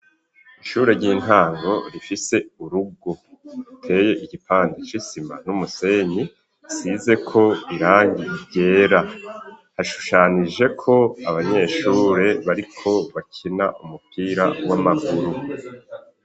Ishure ry'intango rifise urugo riteye igipande c'isima n'umusenyi usizeko irangi ryera hashushanijeko abanyeshure bariko bakina umupira w'amaguru.